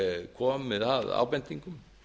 komið að ábendingum